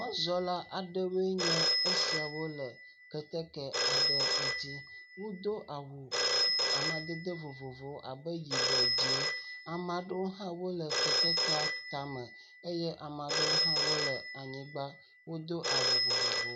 Mɔzɔla aɖewoe nye esiawo le keteke aɖe ŋuti wodo awu amadede vovovowo abe yibɔ, dzẽ ame aɖewo hã wole ketekea tame. Eye ame aɖewo hã wole anyigba. Wodo awu vovovowo.